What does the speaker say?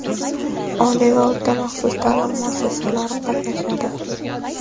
oliy va o‘rta-maxsus taʼlim muassasalari qatnashadi;.